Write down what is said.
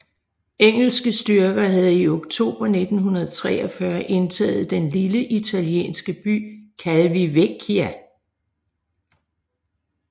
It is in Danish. Engelske styrker havde i oktober 1943 indtaget den lille italienske by Calvi Vecchia